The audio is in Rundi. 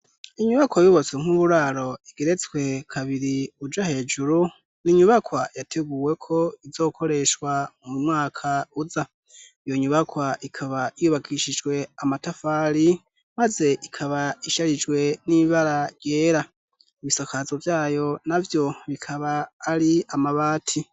inyubakwa yubatswe nk'uburaro igeretswe kabiri uja hejuru n'inyubakwa yateguwe ko izokoreshwa mu mwaka uza iyo nyubakwa ikaba yubakishijwe amatafari maze ikaba isharijwe n'ibara yera ibisakazo byayo nabyo bikaba ari amabati